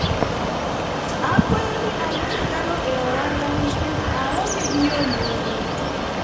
akwayo ni ayud nyalo e ohala ni nikech aonge gi yo moro